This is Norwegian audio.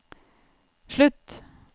slutt